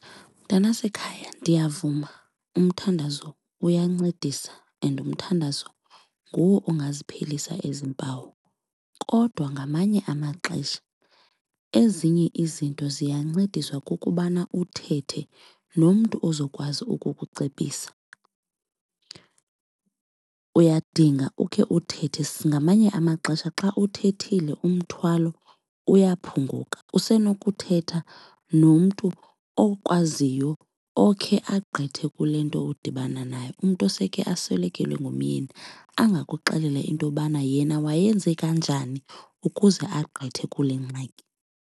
Mntanasekhaya, ndiyavuma umthandazo uyancedisa and umthandazo nguwo ongaziphelisa ezi mpawu kodwa ngamanye amaxesha ezinye izinto ziyancediswa kukubana uthethe nomntu ozokwazi ukukucebisa. Uyadinga ukhe uthethe. Ngamanye amaxesha xa uthethile umthwalo uyaphunguka. Usenokuthetha nomntu okwaziyo okhe agqithe kule nto udibana nayo umntu osekhe aswelekelwe ngumyeni angakuxelela intobana yena wayenza kanjani ukuze agqithe kule ngxaki.